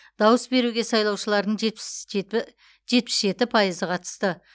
дауыс беруге сайлаушылардың жетпіс жеті пайызы қатысты